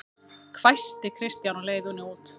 hvæsti Kristján á leiðinni út